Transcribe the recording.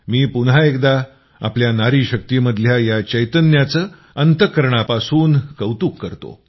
मी पुन्हा एकदा आपल्या नारीशक्तीमधल्या या चैतन्याचं अंतःकरणापासून कौतुक करतो